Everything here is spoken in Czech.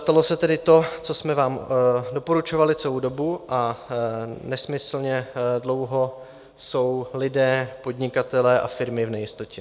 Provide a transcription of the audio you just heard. Stalo se tedy to, co jsme vám doporučovali celou dobu, a nesmyslně dlouho jsou lidé, podnikatelé a firmy v nejistotě.